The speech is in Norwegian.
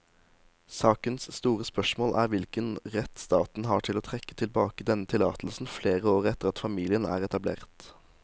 Sakens store spørsmål er hvilken rett staten har til å trekke tilbake denne tillatelsen flere år etter at familien er etablert.